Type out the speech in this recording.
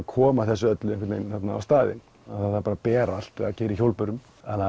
koma þessu á staðinn það var bara að bera allt eða keyra í hjólbörum